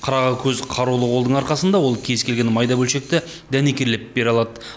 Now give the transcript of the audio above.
қырағы көз қарулы қолдың арқасында ол кез келген майда бөлшекті дәнекерлеп бере алады